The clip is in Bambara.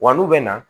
Wa n'u bɛ na